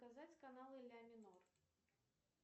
показать каналы ля минор